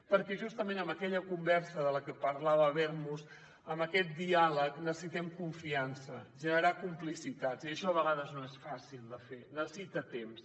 perquè justament en aquella conversa de la qual parlava habermas en aquest diàleg necessitem confiança generar complicitats i això a vegades no és fàcil de fer necessita temps